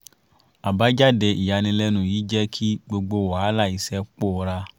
àbájáde ìyànilẹ́nu yìí jẹ́ kí gbogbo wàhálà iṣẹ́ pòórá